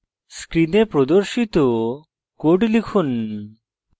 screen প্রদর্শিত code লিখুন